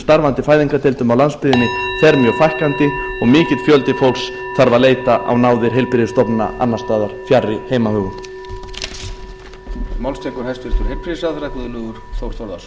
starfandi fæðingardeildum á landsbyggðinni fer mjög fækkandi og mikill fjöldi fólks þarf að leita á náðir heilbrigðisstofnana annars staðar fjarri heimahögum